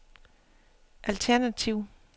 alternativ